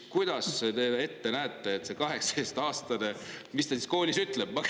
Kuidas te ette näete, mida see 18-aastane siis koolis ütleb?